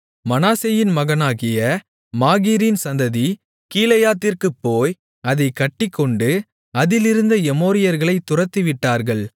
மனாசேயின் மகனாகிய மாகீரின் சந்ததி கீலேயாத்திற்குப் போய் அதைக் கட்டிக்கொண்டு அதிலிருந்த எமோரியர்களைத் துரத்திவிட்டார்கள்